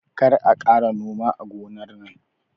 Kar a ƙara noma a gonar nan